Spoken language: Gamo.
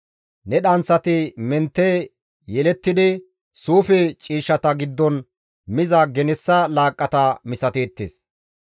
Ne dhanththati mentte yelettidi, suufe ciishshata giddon miza genessa laaqqata misateettes.